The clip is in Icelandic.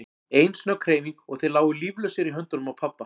Ein snögg hreyfing og þeir lágu líflausir í höndunum á pabba.